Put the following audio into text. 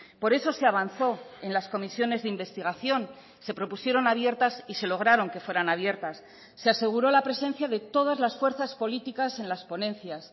por eso se avanzó en las comisiones de investigación se propusieron abiertas y se lograron que fueran abiertas se aseguró la presencia de todas las fuerzas políticas en las ponencias